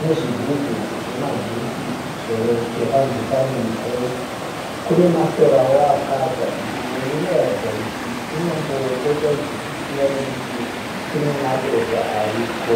nezvigubhu zvemajusi zvakanzi fun and fresh. Kune masorawo akatsva. Nzvimbo iyi inoratidza kuti kunombopota kuchipisiwa nekuti kune madota ariko.